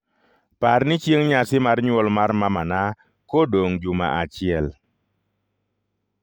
Parni chieng' nyasi mar nyuol mar mamana kodong' juma achiel